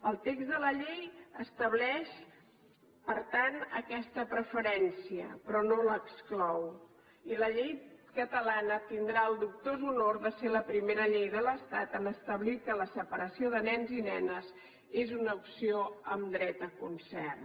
el text de la llei estableix per tant aquesta preferència però no l’exclou i la llei catalana tindrà el dubtós honor de ser la primera llei de l’estat a establir que la separació de nens i nenes és una opció amb dret a concert